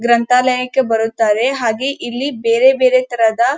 ಗ್ರಂಥಾಲಯಕ್ಕೆ ಬರುತ್ತಾರೆ ಹಾಗೆ ಇಲ್ಲಿ ಬೇರೆ ಬೇರೆ ತರದ --